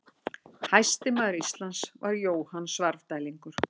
Hæsti maður Íslands var Jóhann Svarfdælingur.